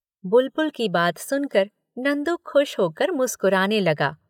" बुलबुल की बात सुनकर नंदू खुश होकर मुस्कराने लगा।